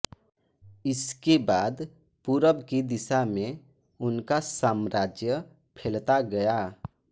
इसके बाद पूरब की दिशा में उनका साम्राज्य फेलता गया